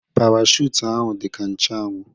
Parachute ahụ dị ka nche anwụ